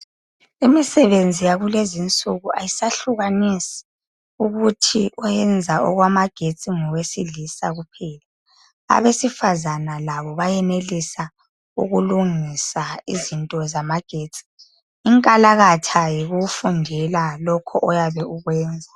Imisebenzi yakulezinsuku ayisahlukanisi ukuthi oyenza amagetsi ngowesilisa kuphela. Abesifazana labo bayenelisa ukulungisa izinto zamagetsi. Inkalakatha yikufundela lokho oyabe ukwenza.